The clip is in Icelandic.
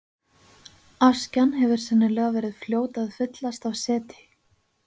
Askjan hefur sennilega verið fljót að fyllast af seti.